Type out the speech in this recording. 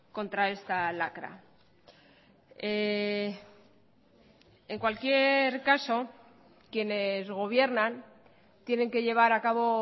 contra esta lacra en cualquier caso quienes gobiernan tienen que llevar a cabo